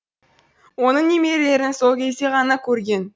оның немерелерін сол кезде ғана көрген